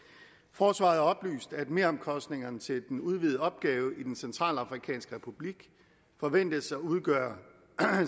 forsvaret har oplyst at meromkostningerne til den udvidede opgave i den centralafrikanske republik forventes at udgøre